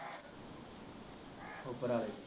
ਉੱਪਰ ਆਲੇ